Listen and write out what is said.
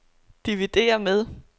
dividér med